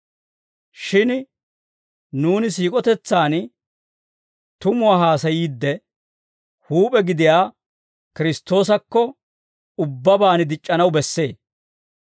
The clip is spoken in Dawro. Shin nuuni siik'otetsan tumuwaa haasayiidde, huup'e gidiyaa Kiristtoosakko ubbabaan dic'c'anaw bessee.